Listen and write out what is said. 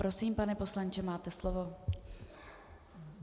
Prosím, pane poslanče, máte slovo.